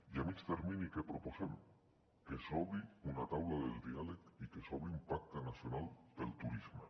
i a mitjà termini què proposem que s’obri una taula del diàleg i que s’obri un pacte nacional pel turisme